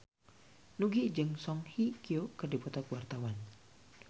Nugie jeung Song Hye Kyo keur dipoto ku wartawan